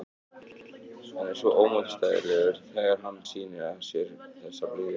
Hann verður svo ómótstæðilegur þegar hann sýnir af sér þessa blíðu.